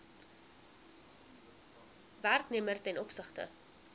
werknemer ten opsigte